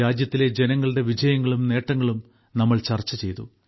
രാജ്യത്തിലെ ജനങ്ങളുടെ വിജയങ്ങളും നേട്ടങ്ങളും നമ്മൾ ചർച്ചചെയ്തു